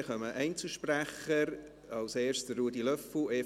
Dann kommen jetzt die Einzelsprecher, als Erster Ruedi Löffel, EVP.